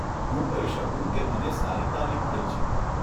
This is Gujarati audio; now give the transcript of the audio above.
હું કહી શકું કે મને સારી તાલીમ મળી છે.